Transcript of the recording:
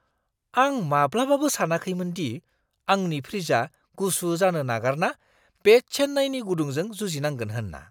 आं माब्लाबाबो सानाखैमोन दि आंनि फ्रिजआ गुसु जानो नागारना बे चेन्नाईनि गुदुंजों जुजिनांगोन होनना!